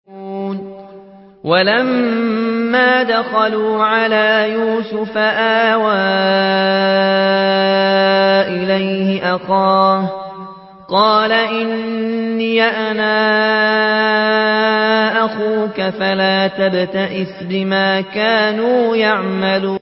وَلَمَّا دَخَلُوا عَلَىٰ يُوسُفَ آوَىٰ إِلَيْهِ أَخَاهُ ۖ قَالَ إِنِّي أَنَا أَخُوكَ فَلَا تَبْتَئِسْ بِمَا كَانُوا يَعْمَلُونَ